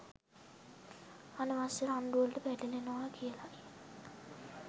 අනවශ්‍ය රණ්ඩු වලට පැටලෙනවා කියලයි